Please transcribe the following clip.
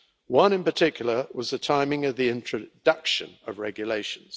One in particular was the timing of the introduction of regulations.